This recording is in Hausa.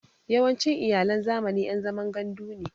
Yawancin Iyalan zamani ƴan zaman gandu ne